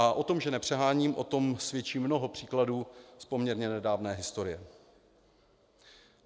A o tom, že nepřeháním, o tom svědčí mnoho příkladů z poměrně nedávné historie.